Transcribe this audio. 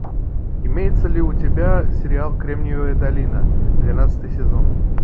имеется ли у тебя сериал кремниевая долина двенадцатый сезон